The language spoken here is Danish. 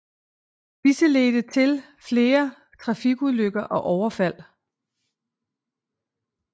Disse ledte til flere trafikulykker og overfald